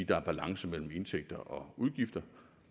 der er balance mellem indtægter og udgifter